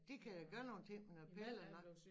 De kan da gøre nogle ting med noget piller